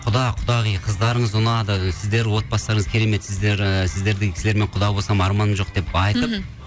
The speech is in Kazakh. құда құдағи қыздарыңыз ұнады сіздер отбастарыңыз кереметсіздер і сіздердей кісілермен құда болсам арманым жоқ деп айтып мхм